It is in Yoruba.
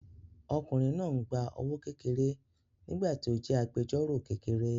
Ọkùnrin náà ń gba owó kékeré nígbà tí ó jẹ́ agbẹjọ́rọ̀ kékeré